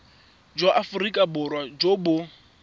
jwa aforika borwa jo bo